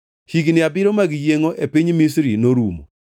Higni abiriyo mag yiengʼo e piny Misri norumo,